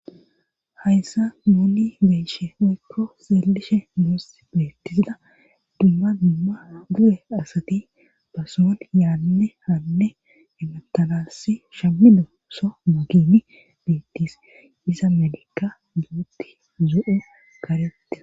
hayssa moni bensheeykko seellishe mooss beettisida dumma dumma du7e asati basoon yaanne hanne ematanassi shammido so mageni beettis isa medikka guutti zo7o kareti